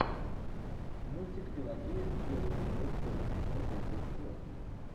мультик пелагея и белый бульдог первый сезон третий эпизод